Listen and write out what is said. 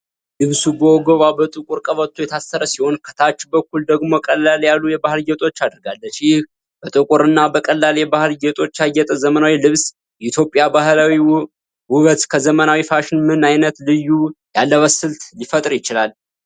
ልብሱ በወገቧ በጥቁር ቀበቶ የታሰረ ሲሆን፣ ከታች በኩል ደግሞ ቀለል ያሉ የባህል ጌጦች አድርጋለች። ይህ በጥቁር እና በቀላል የባህል ጌጦች ያጌጠ ዘመናዊ ልብስ፣ የኢትዮጵያን ባህላዊ ውበት ከዘመናዊ ፋሽን ምን አይነት ልዩ የአለባበስ ስልት ሊፈጥር ችሏል?